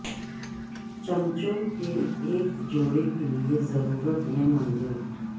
چمچوں کے ایک جوڑے کے لئے ضرورت میں منظور